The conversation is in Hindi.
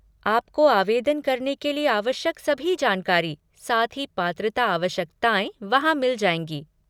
आपको आवेदन करने के लिए आवश्यक सभी जानकारी, साथ ही पात्रता आवश्यकताएँ वहाँ मिल जाएँगी।